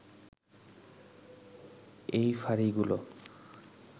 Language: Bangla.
এই ফাঁড়িগুলো